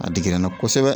A digira n na kosɛbɛ